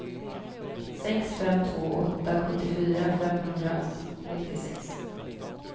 sex fem två åtta sjuttiofyra femhundranittiosex